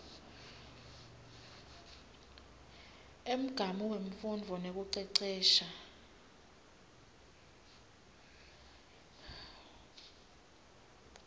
umgamu wemfundvo nekucecesha